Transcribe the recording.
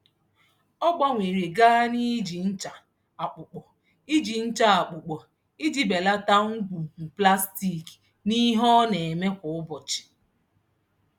Ọ gbanwere gaa n'iji ncha akpụkpọ iji ncha akpụkpọ iji belata ngwugwu plastik n'ihe ọ na-eme kwa ụbọchị.